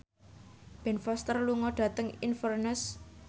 Ben Foster lunga dhateng Inverness